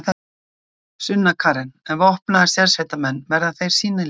Sunna Karen: En vopnaðir sérsveitarmenn, verða þeir sýnilegir?